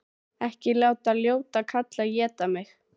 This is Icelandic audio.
Ekki láta ljóta kallinn éta mig!